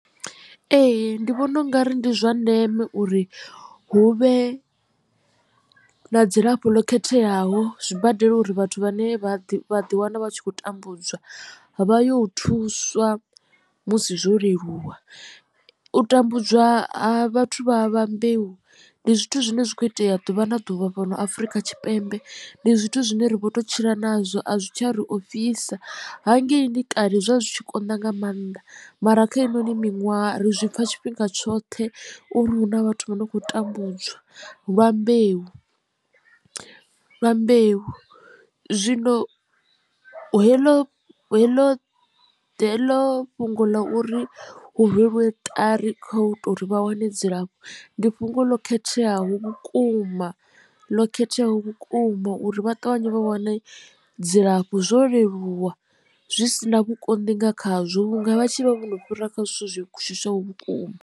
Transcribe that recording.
Ee ndi vhona ungari ndi zwa ndeme uri hu vhe na dzilafho ḽo khetheaho zwibadela uri vhathu vha ne vha vha ḓiwana vha khou tambudzwa vha yo thuswa musi zwo leluwa. U tambudzwa ha vhathu vha vha mbeu ndi zwithu zwine zwa kho itea ḓuvha na ḓuvha fhano afrika tshipembe ndi zwithu zwine ri vho to tshila nazwo a zwi tsha ri ofhisa hangeini kale zwo vha zwi tshi konḓa nga maanḓa mara kha heinoni miṅwaha ri zwi pfha tshifhinga tshoṱhe uri hu na vhathu vha no khou tambudzwa lwa mbeu. Zwino heḽo heḽo ndi heḽo fhungo ḽa uri hu rweliwe ṱari kho to uri vha wane dzilafho ndi fhungo ḽo khetheaho vhukuma ḽo khetheaho vhukuma uri vha ṱavhanye vha wane dzilafho zwo leluwa zwi sina vhukonḓi nga khazwo vhunga vha tshi vha vho no fhira kha zwithu zwi shushaho vhukuma.